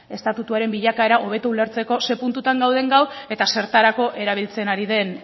estatutuaren bilakaera hobeto ulertzeko zein puntutan gauden gaur eta zertarako erabiltzen ari den